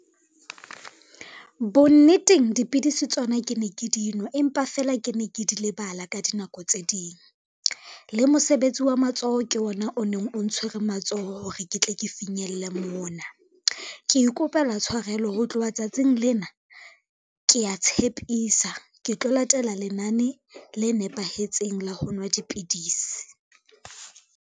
Bonneteng dipidisi tsona ke ne ke di nwa empa fela ke ne ke di lebala ka dinako tse ding. Le mosebetsi wa matsoho ke ona o neng o ntshwere matsoho hore ke tle ke finyelle mona. Ke ikopela tshwarelo ho tloha tsatsing lena, kea tshepisa ke tlo latela lenane le nepahetseng la ho nwa dipidisi.